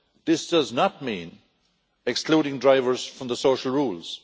This does not mean excluding drivers from the social rules.